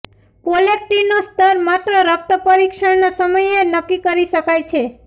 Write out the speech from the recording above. પ્રોલેક્ટીનનો સ્તર માત્ર રક્ત પરીક્ષણના સમયે નક્કી કરી શકાય છે